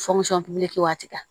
waati kan